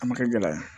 A ma kɛ gɛlɛya ye